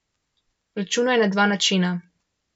Računaj na dva načina.